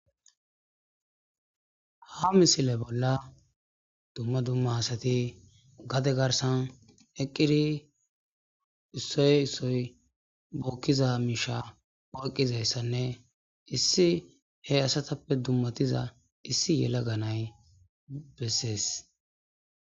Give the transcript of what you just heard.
ha misile bolla dumma dumma asati gade garsan eqqiri issoy issoy bookkiza miisha o eqqizayssanne issi he asatappe dummatiza issi yela ganay bessees